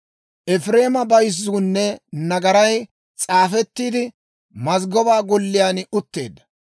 «Efireema bayzzuunne nagaray s'aafettiide, mazggoba golliyaan utteedda.